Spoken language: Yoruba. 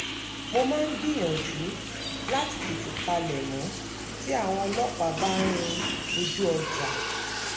mo máa ń gbìyànjú láti tètè palẹ̀mọ́ tí àwọn ọlọ́pàá bá ń rin àwọn ojú ọjà